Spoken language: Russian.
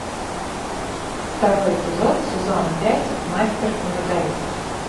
второй эпизод сезона пять мастер и маргарита